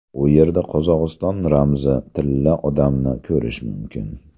U yerda Qozog‘iston ramzi Tilla odamni ko‘rish mumkin.